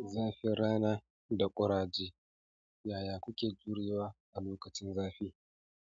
Zafin rana da ƙuraje, yaya kuke jure wa a lokacin zafi?